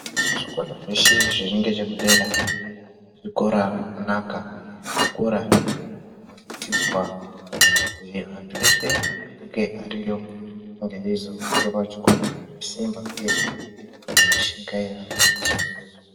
Zvikora zveshe zviri ngechekudera zvikora zvakanaka uye zvikora zvinosisirwa kuzi anthu eshe anenge ariyo ange eizotora chikora ngesimba uye kushingairawo zuwa nngezuwa.